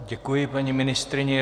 Děkuji paní ministryni.